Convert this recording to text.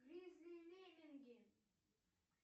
гризли и лемминги